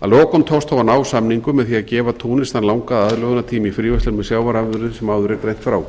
að lokum tókst þó að ná samningum með því að gefa túnis þann langa aðlögunartíma í fríverslun með sjávarafurðir sem áður er greint frá